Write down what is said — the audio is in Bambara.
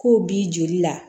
K'o b'i joli la